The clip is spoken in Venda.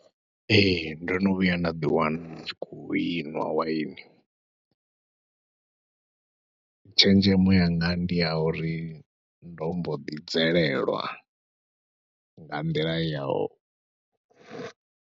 Ee, ndo no vhuya nda ḓiwana ndi tshi khou i nwa waini, tshenzhemo yanga ndi ya uri ndo mbo ḓi bvelelwa nga nḓila ya u.